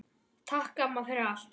Takk, amma, fyrir allt.